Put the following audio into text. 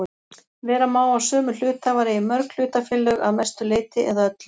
Vera má að sömu hluthafar eigi mörg hlutafélög að mestu leyti eða öllu.